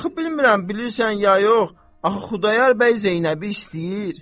Axı bilmirəm bilirsən ya yox, axı Xudayar bəy Zeynəbi istəyir.